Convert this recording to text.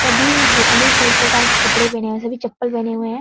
सभी अनेक-अनेक प्रकार के कपड़े पहने है चप्पल पहने हुए है।